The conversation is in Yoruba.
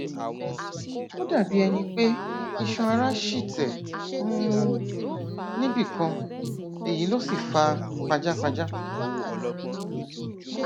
ó dàbí ẹni pé iṣanara ṣì tẹ um níbì kan èyí ló sì fa pajápajá